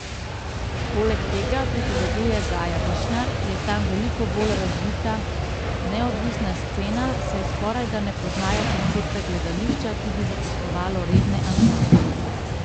Poleg tega, pripoveduje Gaja Višnar, je tam veliko bolj razvita neodvisna scena, saj skorajda ne poznajo koncepta gledališča, ki bi zaposlovalo redne ansamble.